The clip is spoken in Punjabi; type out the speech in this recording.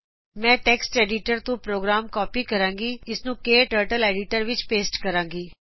ਮੈਂ ਟੈਕਸਟ ਐਡੀਟਰ ਤੋਂ ਪ੍ਰੋਗਰਾਮ ਕਾਪੀ ਕਰਾਗੀ ਅਤੇ ਇਸ ਨੂੰ ਕਟਰਟਲ ਐਡੀਟਰ ਵਿੱਚ ਪੇਸਟ ਕਰਾਗੀ